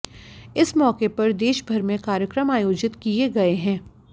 इस मौके पर देशभर में कार्यक्रम आयोजित किए गए हैं